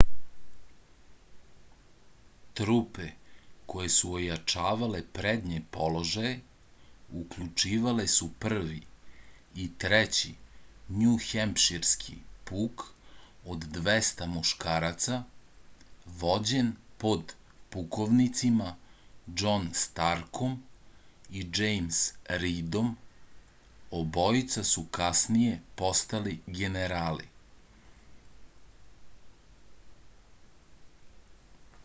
трупе које су ојачавале предње положаје укључивале су 1. и 3. њухемпширски пук од 200 мушкараца вођен под пуковницима џон старком и џејмс ридом обојица су касније постали генерали